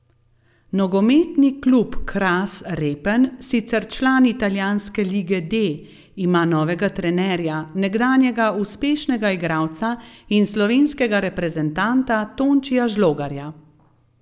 Nogometni klub Kras Repen, sicer član italijanske lige D, ima novega trenerja, nekdanjega uspešnega igralca in slovenskega reprezentanta Tončija Žlogarja.